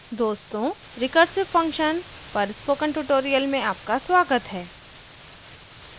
दोस्तों recursive function पर spoken tutorial में आपका स्वागत है